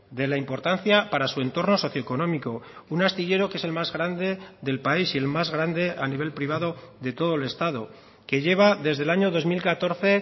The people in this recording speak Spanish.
de la importancia para su entorno socioeconómico un astillero que es el más grande del país y el más grande a nivel privado de todo el estado que lleva desde el año dos mil catorce